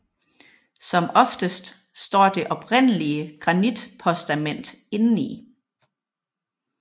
Som oftest står det oprindelige granitpostament indeni